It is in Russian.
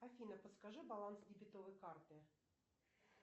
афина подскажи баланс дебетовой карты